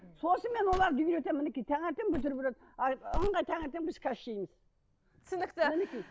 сосын мен оларды үйретемін мінекей таңертең бутерброд а ыңғай таңертең біз түсінікті мінекей